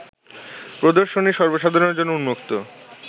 প্রদর্শনী সর্বসাধারণের জন্য উন্মুক্ত